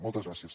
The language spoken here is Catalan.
moltes gràcies